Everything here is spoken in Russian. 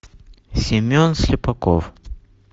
семен слепаков